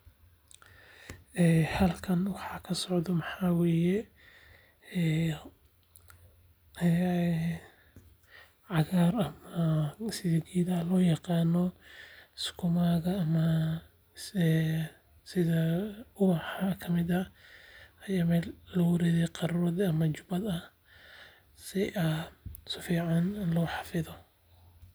Halkan waxa kasocda maxawaye cagaar, ama sidhi geedha loyaqaano sakumadha ama sidha ubaxa kamiid ah aya meel lugu ridhaay qarurad ama jubaad ah si aa saficn loo xafidhoo.